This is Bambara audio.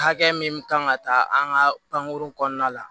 Hakɛ min kan ka ta an ka pankurun kɔnɔna la